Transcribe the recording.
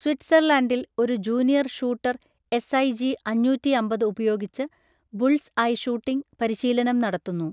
സ്വിറ്റ്സർലൻഡിൽ ഒരു junior shooter S I G അഞ്ഞൂറ്റി അമ്പത് ഉപയോഗിച്ച് ബുൾസ്സ് ഐ ഷൂട്ടിംഗ് പരിശീലനം നടത്തുന്നു.